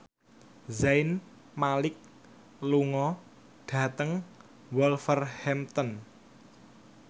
Zayn Malik lunga dhateng Wolverhampton